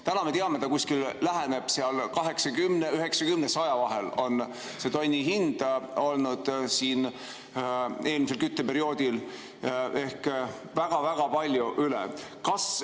Täna me teame, et see tonni hind on olnud 80, 90 ja 100 vahel eelmisel kütteperioodil ehk väga-väga palju rohkem.